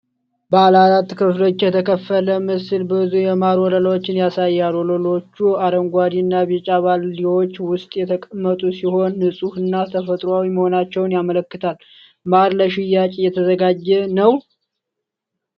ባለአራት ክፍሎች የተከፈለ ምስል ብዙ የማር ወለሎችን ያሳያል። ወለሎቹ አረንጓዴና ቢጫ ባልዲዎች ውስጥ የተቀመጡ ሲሆን፣ ንጹህና ተፈጥሯዊ መሆናቸውን ያመለክታሉ። ማር ለሽያጭ እየተዘጋጀ ነው?